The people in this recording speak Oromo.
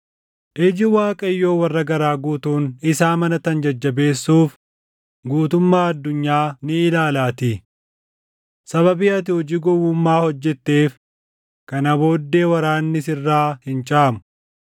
Iji Waaqayyoo warra garaa guutuun isa amanatan jajjabeessuuf guutummaa addunyaa ni ilaalaatii. Sababii ati hojii gowwummaa hojjetteef kana booddee waraanni sirraa hin caamu.”